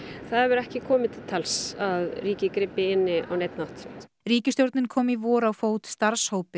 það hefur ekki komið til tals að ríkið grípi inn í á neinn hátt ríkisstjórnin kom í vor á fót starfshópi